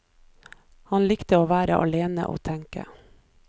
Han likte å være alene og tenke.